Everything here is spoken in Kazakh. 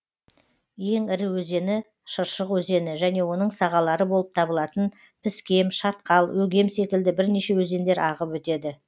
ең ірі өзені шыршық өзені және оның сағалары болып табылатын піскем шатқал өгем секілді бірнеше өзендер ағып өтеді